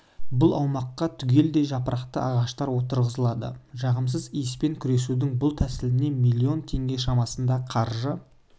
бұл аумаққа түгелдей жапырақты ағаштар отырғызылады жағымсыз иіспен күресудің бұл тәсіліне миллион теңге шамасында қаржы